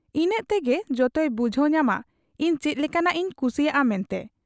ᱤᱱᱟᱹᱜ ᱛᱮᱜᱮ ᱡᱚᱛᱚᱭ ᱵᱩᱡᱷᱟᱹᱣ ᱧᱟᱢᱟ ᱤᱧ ᱪᱮᱫ ᱞᱮᱠᱟᱱᱟᱜ ᱤᱧ ᱠᱩᱥᱤᱭᱟᱜ ᱟ ᱢᱮᱱᱛᱮ ᱾